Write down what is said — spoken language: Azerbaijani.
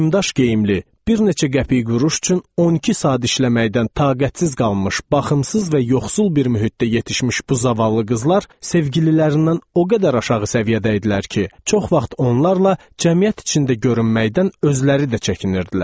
Nimdaş geyimli, bir neçə qəpik quruş üçün 12 saat işləməkdən taqətsiz qalmış, baxımsız və yoxsul bir mühitdə yetişmiş bu zavallı qızlar sevgililərindən o qədər aşağı səviyyədə idilər ki, çox vaxt onlarla cəmiyyət içində görünməkdən özləri də çəkinirdilər.